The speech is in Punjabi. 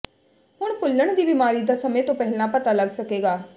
ਹੁਣ ਭੁੱਲਣ ਦੀ ਬਿਮਾਰੀ ਦਾ ਸਮੇਂ ਤੋਂ ਪਹਿਲਾਂ ਪਤਾ ਲੱਗ ਸਕੇਗਾ